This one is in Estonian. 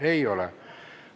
Ei ole.